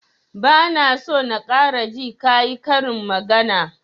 Ba na so na ƙara ji ka yi karin magana!